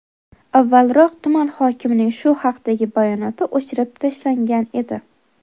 Avvalroq tuman hokimining shu haqdagi bayonoti o‘chirib tashlangan edi.